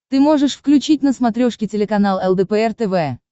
ты можешь включить на смотрешке телеканал лдпр тв